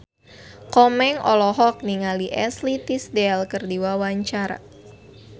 Komeng olohok ningali Ashley Tisdale keur diwawancara